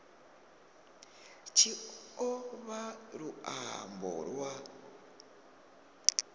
tshi o vha luambo lwa